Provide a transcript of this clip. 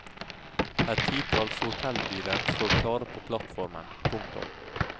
Et titalls hotellbiler står klare på plattformen. punktum